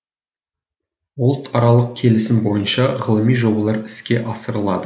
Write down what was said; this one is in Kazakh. ұлтаралық келісім бойынша ғылыми жобалар іске асырылады